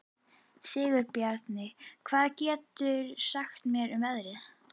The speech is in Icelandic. Sigurbjarni, hvað geturðu sagt mér um veðrið?